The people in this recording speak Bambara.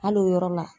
Hali o yɔrɔ la